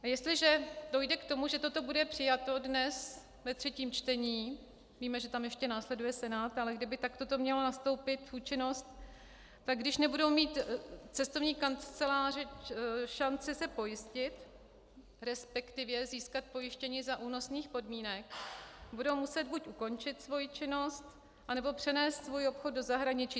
Jestliže dojde k tomu, že toto bude přijato dnes ve třetím čtení, víme, že tam ještě následuje Senát, ale kdyby to takto mělo nastoupit v účinnost, tak když nebudou mít cestovní kanceláře šanci se pojistit, respektive získat pojištění za únosných podmínek, budou muset buď ukončit svoji činnost, anebo přenést svůj obchod do zahraničí.